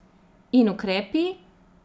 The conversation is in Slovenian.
In ukrepi?